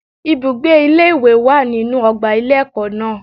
Ibùgbé ilé ìwé wà nínu ọgbà ilé ẹ̀kọ́ náà.